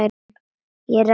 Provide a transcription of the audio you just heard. Ég ræð öllu.